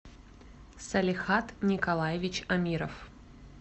салихад николаевич амиров